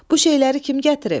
Bu şeyləri kim gətirib?